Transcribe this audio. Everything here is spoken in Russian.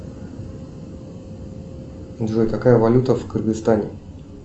джой какая валюта в кыргызстане